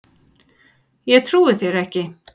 Ég trúi þér ekki